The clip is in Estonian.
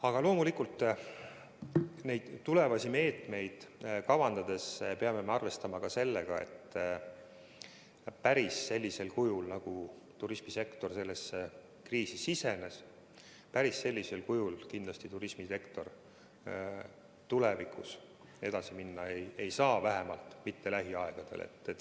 Aga loomulikult neid tulevasi meetmeid kavandades peame arvestama ka sellega, et päris sellisel kujul, nagu turismisektor sellesse kriisi sisenes, ta kindlasti edasi minna ei saa, vähemalt mitte lähiajal.